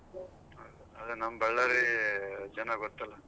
ಅದು ನಮ್ Ballari ಜನ ಗೊತ್ತಲ್ಲ.